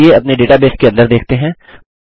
चलिए अपने डेटाबेस के अंदर देखते हैं